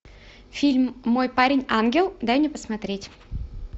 фильм мой парень ангел дай мне посмотреть